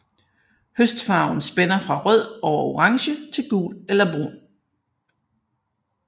Høstfarven spænder fra rød over orange til gul eller brun